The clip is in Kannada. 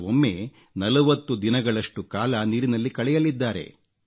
ಕೆಲವೊಮ್ಮೆ 40 ದಿನಗಳಷ್ಟು ಕಾಲ ನೀರಿನಲ್ಲಿ ಕಳೆಯಲಿದ್ದಾರೆ